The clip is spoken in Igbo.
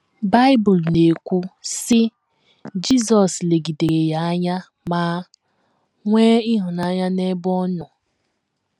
Bible na - ekwu, sị: “ Jizọs legidere ya anya ma nwee ịhụnanya n’ebe ọ nọ. ”